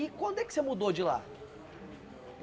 E quando é que você mudou de lá?